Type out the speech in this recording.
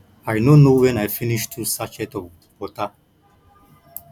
i no know wen i finish two sachet of water